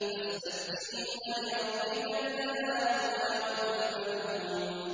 فَاسْتَفْتِهِمْ أَلِرَبِّكَ الْبَنَاتُ وَلَهُمُ الْبَنُونَ